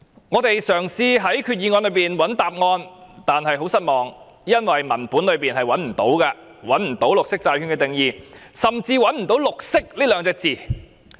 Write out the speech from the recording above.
我們嘗試在決議案中尋找答案，但結果很令人失望，因為在文本內找不到綠色債券的定義，甚至找不到"綠色"這兩個字。